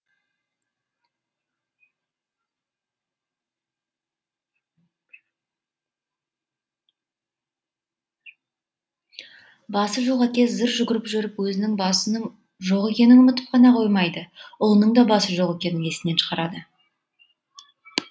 басы жоқ әке зыр жүгіріп жүріп өзінің басының жоқ екенін ұмытып қана қоймайды ұлының да басы жоқ екенін есінен шығарады